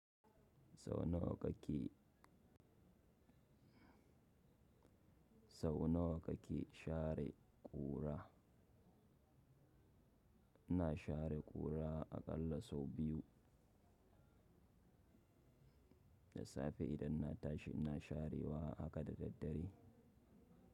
Sau nawa kake share ƙura? Ina share ƙura aƙalla sau biyu. Da safe idan na tashi ina sharewa haka da daddare.